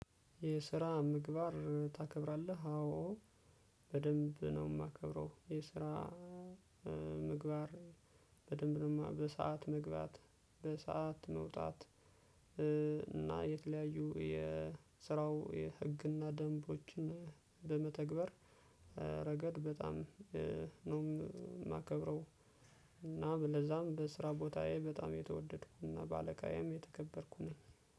የስራ ምግባር ታከብራለህ አዎ በደንብ ነው የማከብረው። የስራ ምግባር በደንብ ነው ማ በሰአት መግባት በሰአት መውጣት እና የተለያዩ የስራው የህግና ደንቦችን በመተግበር ረገድ በጣም ነው የማከብረው። እና ለዛም በስራ ቦታዬ በጣም የተወደድኩና በአለቃዬም የተከበርኩ ነኝ።